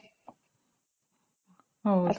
ಹೌದು